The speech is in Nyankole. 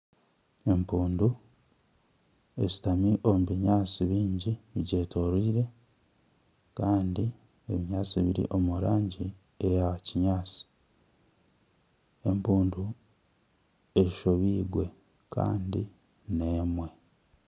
Empundu eshutami omu binyaatsi bingi bigyetoreire Kandi ebinyaatsi biri omu rangi eya kinyaatsi. Empundu eshobirwe Kandi ni emwe.